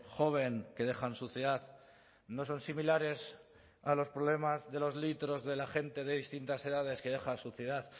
joven que dejan suciedad no son similares a los problemas de los litros de la gente de distintas edades que deja suciedad